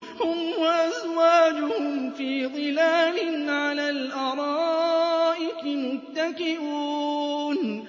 هُمْ وَأَزْوَاجُهُمْ فِي ظِلَالٍ عَلَى الْأَرَائِكِ مُتَّكِئُونَ